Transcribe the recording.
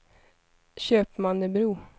Köpmannebro